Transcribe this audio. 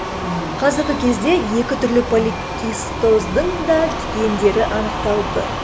қазіргі кезде екі түрлі поликистоздың да гендері анықталды